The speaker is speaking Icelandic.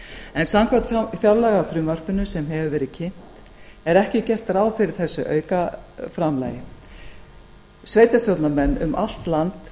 en samkvæmt fjárlagafrumvarpinu sem hefur verið kynnt er ekki gert ráð fyrir þessu aukaframlagi sveitarstjórnarmenn um allt land